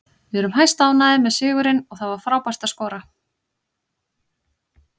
Við erum hæstánægðir með sigurinn og það var frábært að skora.